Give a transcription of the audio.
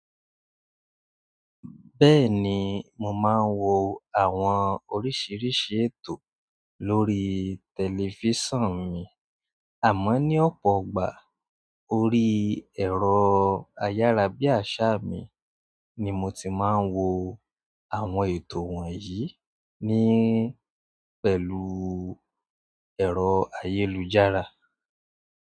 Bẹ́ẹ̀ni mo máa ń wo àwọn oríṣiríṣi ètò lórí tẹlifisiọnu mi, amọ ní opoigba orí ẹrọ ayára bí aṣa mi ni mo ti má ń wo àwọn ètò wọ̀nyí ní pẹ̀lú ẹ̀rọ ayélujára.